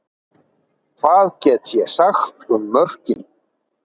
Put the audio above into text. Hvað get ég sagt um mörkin?